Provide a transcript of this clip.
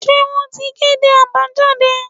se won tí kedé abajadé